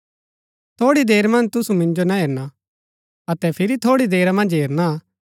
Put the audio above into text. थोड़ी देर मन्ज तुसु मिन्जो ना हेरणा अतै फिरी थोड़ी देरा मन्ज हेरणा